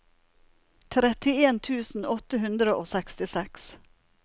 trettien tusen åtte hundre og sekstiseks